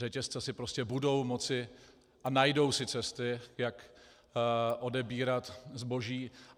Řetězce si prostě budou moci a najdou si cesty, jak odebírat zboží.